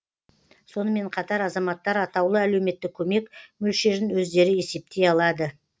сонымен қатар азаматтар атаулы әлеуметтік көмек мөлшерін өздері есептей алады